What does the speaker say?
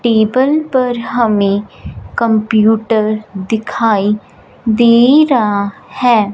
Table पर हमें computer दिखाई दे रहा है।